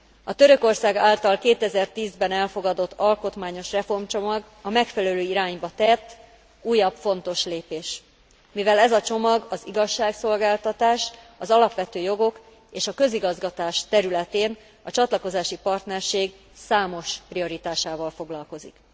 A Törökország által 2010 ben elfogadott alkotmányos reformcsomag a megfelelő irányba tett újabb fontos lépés, mivel ez a csomag az igazságszolgáltatás, az alapvető jogok és a közigazgatás területén a csatlakozási partnerség számos prioritásával foglalkozik.